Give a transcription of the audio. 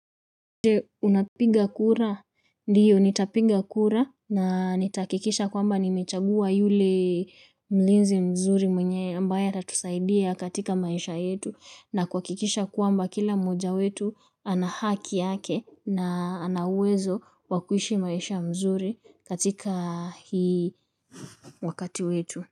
Je unapinga kura? Ndiyo nitapiga kura na nitahakikisha kwamba nimechagua yule mlinzi mzuri mwenye ambaye atatusaidia katika maisha yetu na kuhakikisha kwamba kila mmoja wetu ana haki yake na ana uwezo wa kuishi maisha nzuri katika hii wakati wetu.